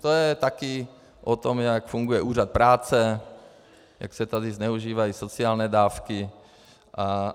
To je také o tom, jak funguje Úřad práce, jak se tady zneužívají sociální dávky atd.